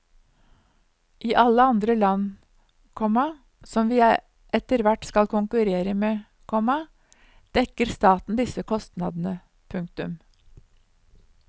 I alle andre land, komma som vi etter hvert skal konkurrere med, komma dekker staten disse kostnadene. punktum